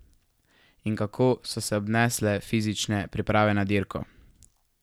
In kako so se obnesle fizične priprave na dirko?